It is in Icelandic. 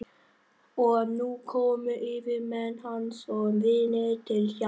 Og nú komu yfirmenn hans og vinir til hjálpar.